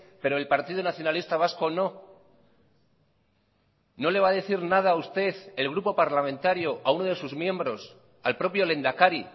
pero el partido nacionalista vasco no no le va a decir nada usted el grupo parlamentario a uno de sus miembros al propio lehendakari